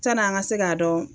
Sani an ka se k'a dɔn